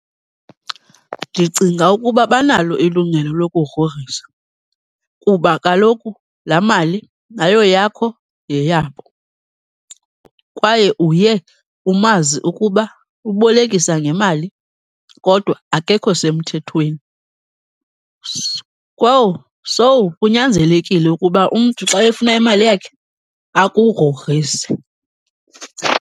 Ndicinga ukuba banalo ilungelo lokugrogrisa kuba kaloku laa mali ayoyakho yeyabo, kwaye uye umazi ukuba ubolekisa ngemali kodwa akekho semthethweni. Kowu, so, kunyanzelekile ukuba umntu xa efuna imali yakhe akugrogrise.